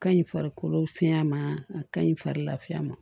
Ka ɲi farikolo fiɲɛ ma a ka ɲi farikolo lafiya ma